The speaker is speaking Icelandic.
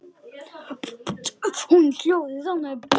Hún hljóðar þannig